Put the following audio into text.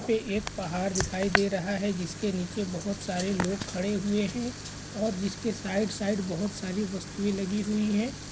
यहाँ पे एक पहाड़ दिखाई दे रहा है जिसके नीचे बहुत सारे लोग खड़े हुए है और जिसके साइड-साइड बहुत सारी वस्तुएं लगी हुई हैं।